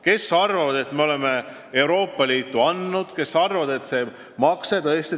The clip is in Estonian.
Kes arvavad, et me oleme Euroopa Liitu palju andnud, kes arvavad, et oleme palju saanud.